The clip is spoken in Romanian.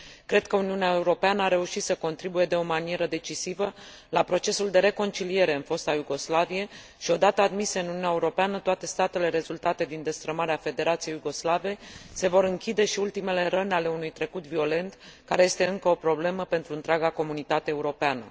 Cred că Uniunea Europeană a reușit să contribuie de o manieră decisivă la procesul de reconciliere în fosta Iugoslavie și, o dată admise în Uniunea Europeană toate statele rezultate din destrămarea Federației Iugoslave, se vor închide și ultimele răni ale unui trecut violent, care este încă o problemă pentru întreaga comunitate europeană.